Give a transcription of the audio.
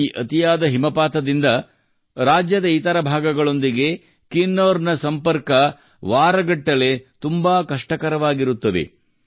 ಈ ಅತಿಯಾದ ಹಿಮಪಾತದಿಂದ ರಾಜ್ಯದ ಇತರ ಭಾಗಗಳೊಂದಿಗೆ ಕಿನ್ನೌರ್ನ ಸಂಪರ್ಕವು ವಾರಗಟ್ಟಲೆ ತುಂಬಾ ಕಷ್ಟಕರವಾಗಿರುತ್ತದೆ